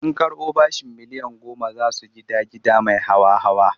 Sun karɓo bashin miliyan goma za su gida gida mai hawa-hawa.